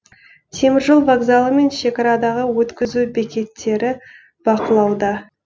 теміржол вокзалы мен шекарадағы өткізу бекеттері бақылауда